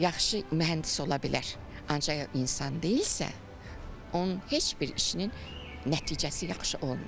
Yaxşı mühəndis ola bilər, ancaq insan deyilsə, onun heç bir işinin nəticəsi yaxşı olmayacaq.